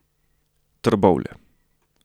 Trbovlje.